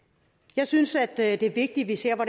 jeg synes det er vigtigt at vi ser på